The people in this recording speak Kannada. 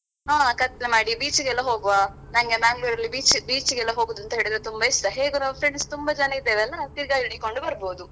ಹಾ ಕತ್ಲೇ ಮಾಡಿ beach ಗೆಲ್ಲ ಹೋಗ್ವಾ ನಂಗೆ Mangalore ಅಲ್ಲಿ beach beach ಗೆಲ್ಲಾ ಹೋಗುದ್ ಅಂತ್ಹೇಳಿದ್ರೇ ತುಂಬಾ ಇಷ್ಟ ಹೇಗೆ ನಾವು friends ತುಂಬ ಜನ ಇದ್ದೆವಲ್ಲಾ ತಿರ್ಗಾಡಿಕೊಂಡು ಬರ್ಬೊದು.